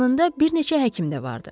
Yanında bir neçə həkim də vardı.